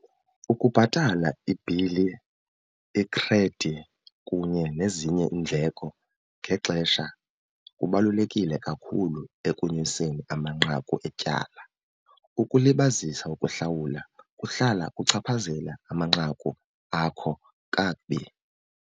Ukubhatala ibhili, ikhredi, kunye nezinye iindleko ngexesha kubalulekile kakhulu ekunyuseni amanqaku etyala. Ukulibazisa ukuhlawula kuhlala kuchaphazela amanqaku akho kakubi.